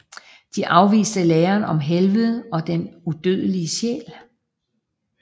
De afviser læren om helvede og den udødelige sjæl